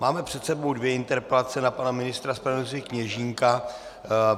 Máme před sebou dvě interpelace na pana ministra spravedlnosti Kněžínka.